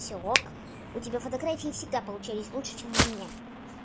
всё ок у тебя фотографии всегда получались лучше чем у меня